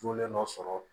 Jolen dɔ sɔrɔ